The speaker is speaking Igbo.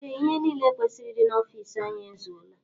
Ee ihe niile kwesịrị ịdị n'ofici anyị ezuola.